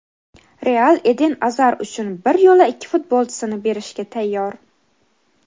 "Real" Eden Azar uchun bir yo‘la ikki futbolchisini berishga tayyor.